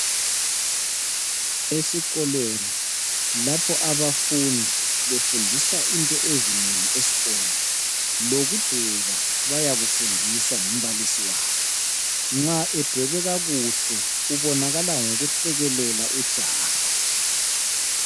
Esikolweni lapho abafundi befundiswa into ezinengi esikolo. Lokudweba bayakufundiswa ngumbalisi wabo. Nxa edwebe kakuhle ubonakala ngokuhlekelela ujaha.